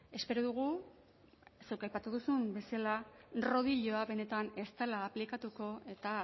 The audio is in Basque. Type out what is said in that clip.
espero dugu zuk aipatu duzun bezala rodilloa benetan ez dela aplikatuko eta